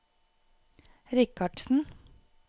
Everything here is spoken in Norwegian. Richardsen